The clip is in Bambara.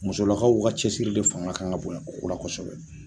Musolakaw ka cɛsiri de fanga kan ka bonya o ko la kosɛbɛ.